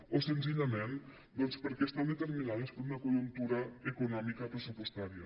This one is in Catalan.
o senzillament doncs perquè estan determinades per una conjuntura econòmica pressupostària